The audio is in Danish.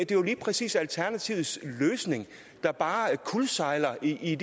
det er jo lige præcis alternativets løsning der bare kuldsejler i